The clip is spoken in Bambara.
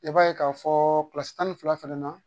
I b'a ye k'a fɔ tan ni fila fɛnɛ na